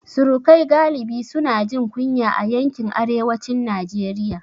Surukai galibi su na jin kunya a yankin arewacin Najeriya